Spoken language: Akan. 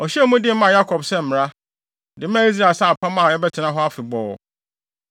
Ɔhyɛɛ mu den maa Yakob sɛ mmara, de maa Israel sɛ apam a ɛbɛtena hɔ afebɔɔ;